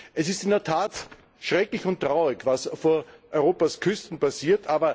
Es ist in der Tat schrecklich und traurig, was vor Europas Küsten passiert.